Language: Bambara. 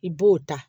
I b'o ta